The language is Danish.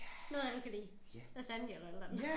Noget af det kan blive lasagne eller et eller andet